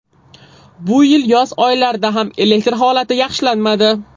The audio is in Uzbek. Bu yil yoz oylarida ham elektr holati yaxshilanmadi.